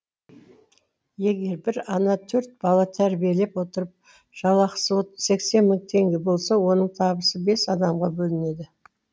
егер бір ана төрт бала тәрбиелеп отырып жалақысы сексен мың теңге болса оның табысы бес адамға бөлінеді